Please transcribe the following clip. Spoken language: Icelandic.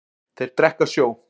Þeir drekka sjó.